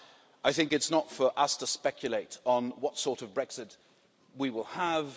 I think it's not for us to speculate on what sort of Brexit we will have.